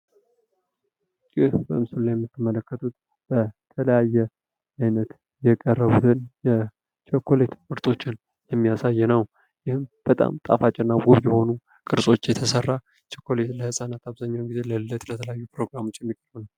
ይህ በምስሉ ላይ የምትመለከቱት በተለያየ አይነት የቀረቡትን አይነት የቀረቡትን የቸኮሌት ምርቶችን የሚያሳይ ነው። ይህም በጣም ጠፋጭና ውብ የሆኑ ቅርፅች የተሰራ ቸኮሌት ህለፃናት አብዛኛውን ጊዜ ለልደት ለተለያዩ ፕሮግራሞች የሚሆን